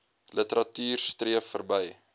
literatuur streef verby